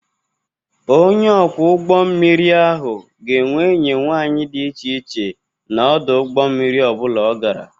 Onye ọkwọ ụgbọ mmiri ahụ ga-enwe enyi nwanyị dị iche iche na ọdụ ụgbọ mmiri ọ bụla ọ gara.